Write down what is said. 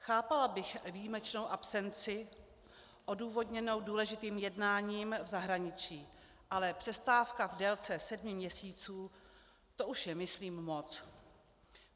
Chápala bych výjimečnou absenci odůvodněnou důležitým jednáním v zahraničí, ale přestávka v délce sedmi měsíců, to už je myslím moc.